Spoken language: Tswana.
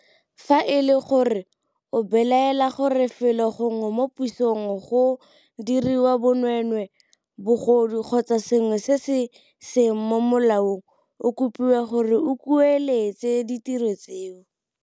FA E LE GORE o belaela gore felo gongwe mo pusong go diriwa bonweenwee, bogodu kgotsa sengwe se se seng mo molaong, o kopiwa gore o kueletse ditiro tseo.